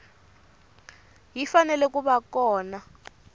yi fanele ku va kona